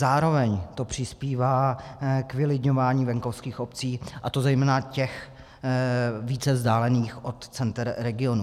Zároveň to přispívá k vylidňování venkovských obcí, a to zejména těch více vzdálených od center regionů.